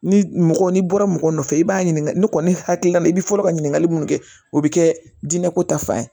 Ni mɔgɔ n'i bɔra mɔgɔ nɔfɛ i b'a ɲininka ne kɔni hakilila la i bɛ fɔlɔ ka ɲininkali minnu kɛ o bɛ kɛ jinɛ ko ta fan ye